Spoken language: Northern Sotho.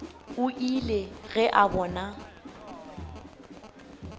o ile ge a bona